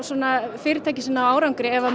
fyrirtæki sem ná árangri ef